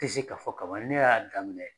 Tɛ se k'a fɔ ka ban ne y'a daminɛ